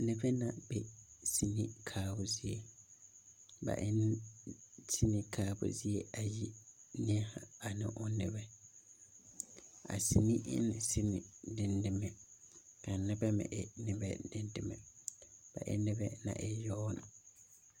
Noba l a be seni kaabo zie ba e la seni kaabo zie ayi neɛzaa ane o nebɛ a seni e ne seni dendeme kaa nebɛ meŋ e nebɛ dendeme ba e na noba naŋ e yaga na